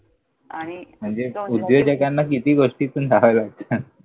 आणि इतकं म्हणजे म्हणजे उद्योजकांना किती गोष्टींतून जावं लागतं.